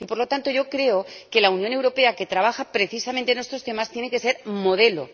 Y, por lo tanto, yo creo que la Unión Europea, que trabaja precisamente en estos temas, tiene que ser un modelo.